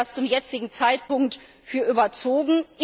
Ich halte das zum jetzigen Zeitpunkt für überzogen.